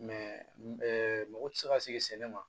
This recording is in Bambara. mago tɛ se ka sigi sɛnɛ ma